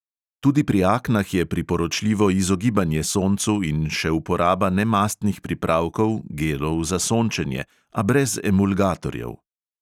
Tudi pri aknah je priporočljivo izogibanje soncu in še uporaba nemastnih pripravkov za sončenje, a brez emulgatorjev.